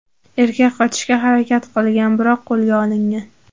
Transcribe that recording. Erkak qochishga harakat qilgan, biroq qo‘lga olingan.